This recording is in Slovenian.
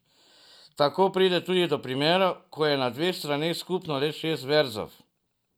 Tako pride tudi do primerov, ko je na dveh straneh skupno le šest verzov.